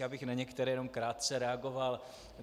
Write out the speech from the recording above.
Já bych na některé jenom krátce reagoval.